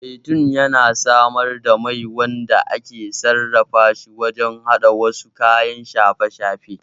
Zaitun yana samar da mai wanda ake sarrafa shi wajen haɗa wasu kayan shafe-shafen